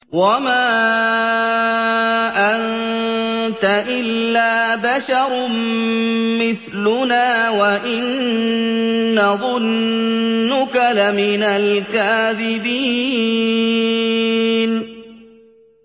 وَمَا أَنتَ إِلَّا بَشَرٌ مِّثْلُنَا وَإِن نَّظُنُّكَ لَمِنَ الْكَاذِبِينَ